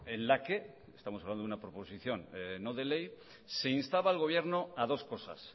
en la que estamos hablando de una proposición no de ley se instaba al gobierno a dos cosas